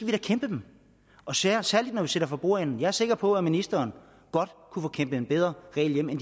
bekæmpe den og særlig særlig når vi sidder for bordenden jeg er sikker på at ministeren godt kunne få kæmpet en bedre regel hjem en